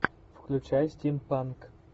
включай стимпанк